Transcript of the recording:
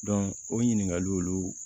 o ɲininkaliw olu